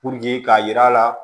Puruke k'a yira a la